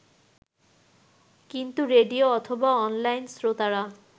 কিন্তু রেডিও অথবা অনলাইন শ্রোতারা